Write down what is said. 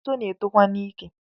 Otito na-etokwa n’ike